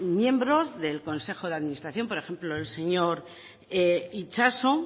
miembros del consejo de administración por ejemplo el señor itxaso